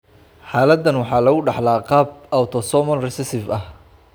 Xaaladdan waxaa lagu dhaxlaa qaab autosomal recessive ah.